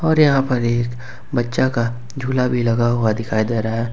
और यहां पर एक बच्चा का झूला भी लगा हुआ दिखाई दे रहा है।